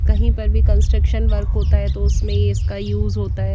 कही पर भी कंस्ट्रक्शन वर्क होता है तो उसमें इसका यूज होता हैं।